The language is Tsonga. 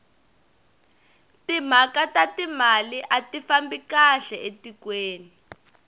timhaka ta timali ati fambi kahle etikweni